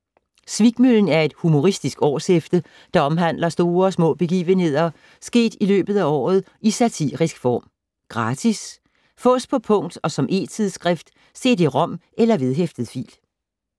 Svikmøllen er et humoristisk årshæfte, der omhandler store og små begivenheder sket i løbet af året, i satirisk form. Gratis Fås på punkt og som e-tidsskrift: cd-rom eller vedhæftet fil